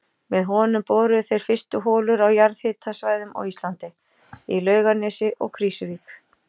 Með honum boruðu þeir fyrstu holur á jarðhitasvæðum á Íslandi, í Laugarnesi og Krýsuvík.